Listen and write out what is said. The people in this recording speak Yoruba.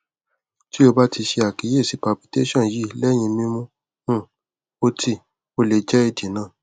ti o ba ti ṣe akiyesi palpitation yii lẹhin mimu um ọti o le jẹ idi naa